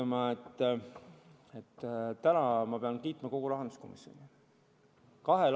Ma pean täna kiitma kogu rahanduskomisjoni.